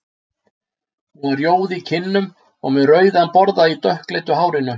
Hún var rjóð í kinnum og með rauðan borða í dökkleitu hárinu.